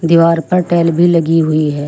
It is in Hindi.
दीवार पर टाइल भी लगी हुई है।